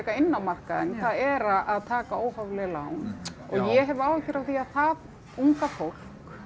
inn á markaðinn það er að taka óhóflega lán og ég hef áhyggjur af því að það unga fólk